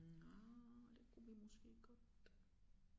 Nja det kunne vi måske godt